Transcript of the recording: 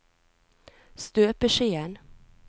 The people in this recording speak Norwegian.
støpeskjeen